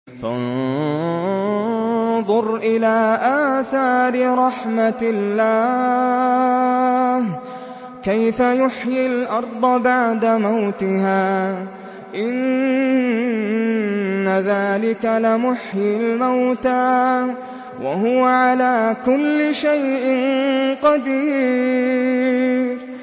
فَانظُرْ إِلَىٰ آثَارِ رَحْمَتِ اللَّهِ كَيْفَ يُحْيِي الْأَرْضَ بَعْدَ مَوْتِهَا ۚ إِنَّ ذَٰلِكَ لَمُحْيِي الْمَوْتَىٰ ۖ وَهُوَ عَلَىٰ كُلِّ شَيْءٍ قَدِيرٌ